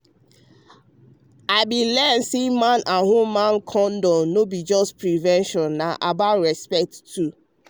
i bin learn say man with woman dem no be just to prevent na about respect too